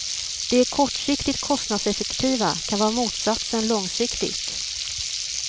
Det kortsiktigt kostnadseffektiva kan vara motsatsen långsiktigt.